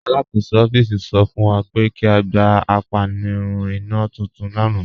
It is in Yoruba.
Alakọsọ ọffíísì sọ fún wa pé kí a gbà àpànìrùn ìnà tuntun lána.